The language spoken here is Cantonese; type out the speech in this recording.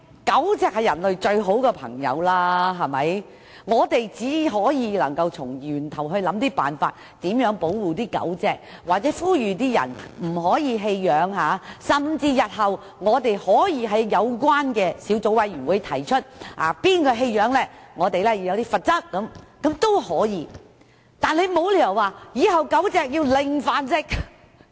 狗隻是人類最好的朋友，所以我們只能從源頭想辦法保護狗隻，或呼籲盡量不要棄養，甚至日後在有關的小組委員會上建議訂立棄養的罰則，但卻沒理由要求狗隻"零繁殖"。